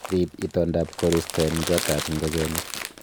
Riib itondaab koristo en gotab ingogenik